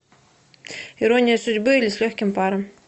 ирония судьбы или с легким паром